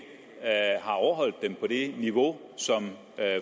har overholdt dem på det niveau som